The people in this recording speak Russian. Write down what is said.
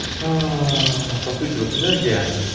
ааа по сути вот энергия